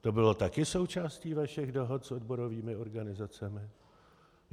To bylo také součástí vašich dohod s odborovými organizacemi?